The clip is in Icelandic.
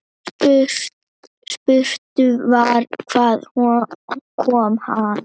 Spurt var: Hvaðan kom hann.